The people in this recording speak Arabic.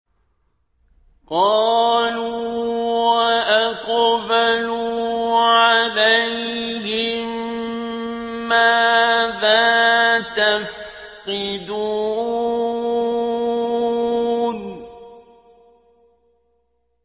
قَالُوا وَأَقْبَلُوا عَلَيْهِم مَّاذَا تَفْقِدُونَ